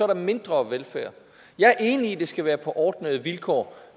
mindre velfærd jeg er enig i at det skal være på ordnede vilkår